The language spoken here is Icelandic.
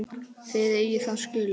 Þið eigið það skilið.